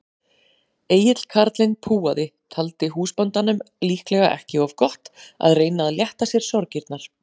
Egill karlinn púaði, taldi húsbóndanum líklega ekki of gott að reyna að létta sér sorgirnar.